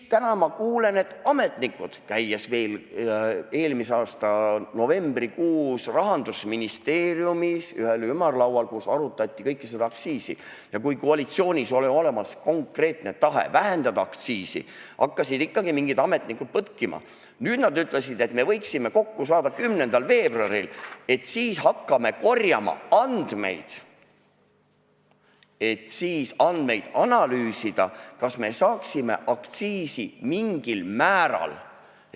Täna ma kuulen, et ametnikud – käisin veel eelmise aasta novembrikuus Rahandusministeeriumis ühel ümarlaual, kus arutati kõike seda, ja kui koalitsioonis oli olemas konkreetne tahe vähendada aktsiisi, hakkasid ikkagi mingid ametnikud põtkima – nüüd ütlesid, et me võiksime kokku saada 10. veebruaril, siis hakkame korjama andmeid, et andmeid analüüsida, kas me saaksime aktsiisi mingil määral.